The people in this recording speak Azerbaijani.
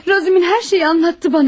Razum hər şeyi anlattı bana.